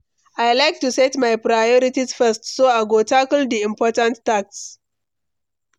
I like to set my priorities first, so I go tackle the important tasks.